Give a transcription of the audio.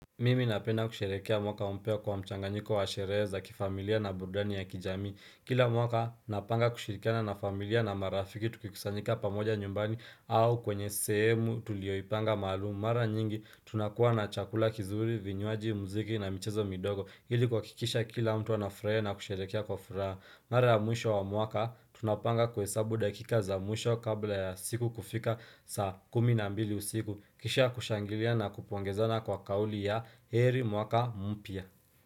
Mimi napenda kusherehekea mwaka mpya kwa mchanganyiko wa sherehe za kifamilia na burudani ya kijamii Kila mwaka napanga kushirikana na familia na marafiki tukikusanyika pamoja nyumbani au kwenye sehemu tulioipanga maalumu Mara nyingi tunakuwa na chakula kizuri, vinywaji, muziki na michezo midogo Ili kuhakikisha kila mtu anafurahia na kusherehekea kwa furaha Mara ya mwisho wa mwaka tunapanga kuhesabu dakika za mwisho kabla ya siku kufika saa kumi na mbili usiku Kisha kushangilia na kupongezana kwa kauli ya heri mwaka mpya.